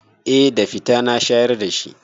Eh da fida na shayar da shi.